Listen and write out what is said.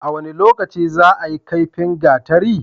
A wane lokaci zaayi kaifin gatari?